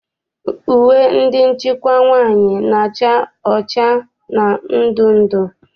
Uwe ndị nchịkwa nwaanyị na-acha ọcha na ndụndụ.